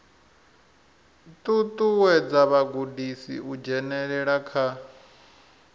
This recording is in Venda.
ṱuṱuwedza vhagudiswa u dzhenelela kha